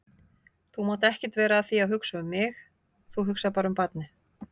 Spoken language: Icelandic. Þú mátt ekkert vera að því að hugsa um mig, þú hugsar bara um barnið.